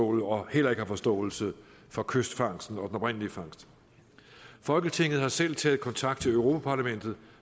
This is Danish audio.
og heller ikke har forståelse for kystfangsten og oprindelige fangst folketinget har selv taget kontakt til europa parlamentet